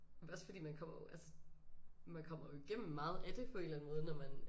Også fordi man kommer jo altså man kommer jo igennem meget af det på eller anden måde når man